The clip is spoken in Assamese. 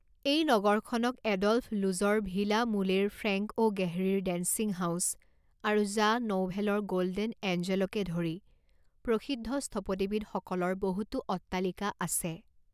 এই নগৰখনত এডল্ফ লুজৰ ভিলা মুলেৰ ফ্ৰেংক অ গেহৰীৰ ডেন্সিং হাউছ আৰু জ্যাঁ নউভেলৰ গ'ল্ডেন এঞ্জেলকে ধৰি প্ৰসিদ্ধ স্থপতিবিদসকলৰ বহুতো অট্টালিকা আছে।